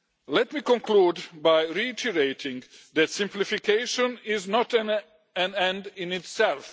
Let me conclude by reiterating that simplification is not an end in itself.